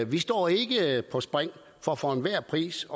vi står ikke på spring for for enhver pris